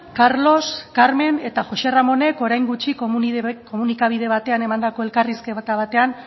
carlos carmen eta jose ramónek orain gutxi komunikabide batean emandako elkarrizketa batean